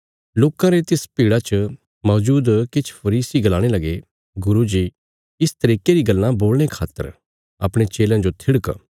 लोकां रे तिस भीड़ा च मौजूद किछ फरीसी गलाणे लगे गुरू जी इस तरिके री गल्लां बोलणे खातर अपणे चेलयां जो थिड़क